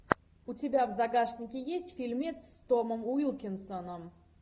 у тебя в загашнике есть фильмец с томом уилкинсоном